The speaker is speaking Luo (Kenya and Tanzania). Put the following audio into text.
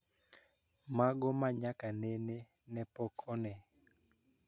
Mago ma nyaka nene ne pok one